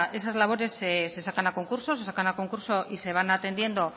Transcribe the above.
pues esas labores se sacan a concurso se sacan a concurso y se van atendiendo